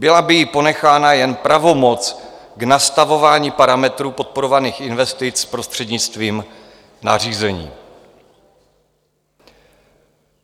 Byla by jí ponechána jen pravomoc k nastavování parametrů podporovaných investic prostřednictvím nařízení.